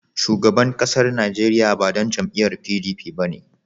Shugaban ƙasar Najeriya ba ɗan jam'iyar PDP ba ne.